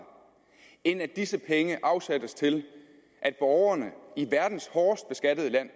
end at disse penge afsættes til at borgerne i verdens hårdest beskattede land